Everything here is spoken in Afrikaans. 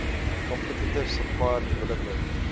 competitive supplier development